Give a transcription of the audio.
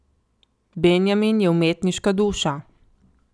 Benjamin je umetniška duša.